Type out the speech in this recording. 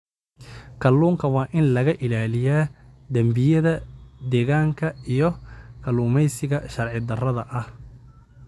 Kalluunka waa in laga ilaaliyaa dambiyada deegaanka iyo kalluumeysiga sharci darrada ah.